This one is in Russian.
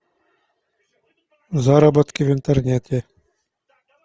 заработки в интернете